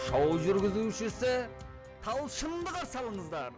шоу жүргізушісі талшынды қарсы алыңыздар